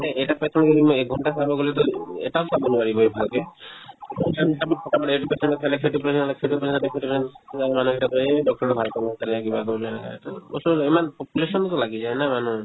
এই এটা patient ক যদি মই একঘণ্টা চাব গ'লেতো এটাও চাব নোৱাৰিবয়ে ভালকে এইটো patient ক সেইটো patient ক সেইটো patientক এই doctor ৰৰ কিবা এনেকে ইমান population তো লাগি যায় না মানুহ